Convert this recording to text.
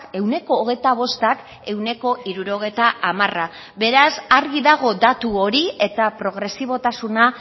ehuneko hogeita bostak ehuneko hirurogeita hamara beraz argi dago datu hori eta progresibotasuna